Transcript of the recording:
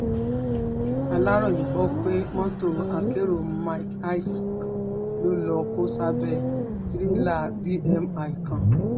aláròye gbọ́ pé mọ́tò akérò mark hiace kan ló lọ́ọ́ kó sábẹ́ tìrẹ̀là bmi kan